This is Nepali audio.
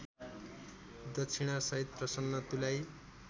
दक्षिणासहित प्रसन्न तुल्याई